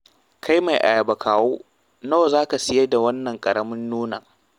Kai mai ayaba kawo nawa za ka saida wannan ƙaramin nonon?